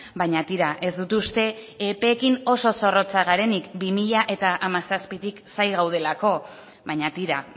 baina tira ez dut uste epeekin oso zorrotzak garenik bi mila hamazazpitik zain gaudelako baina tira